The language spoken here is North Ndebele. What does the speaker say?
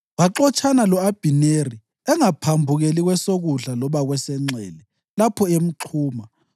Waxotshana lo-Abhineri, engaphambukeli kwesokudla loba kwesenxele lapho emxhuma.